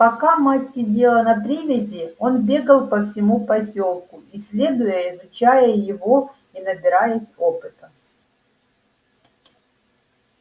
пока мать сидела на привязи он бегал по всему посёлку исследуя изучая его и набираясь опыта